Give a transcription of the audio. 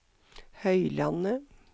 Høylandet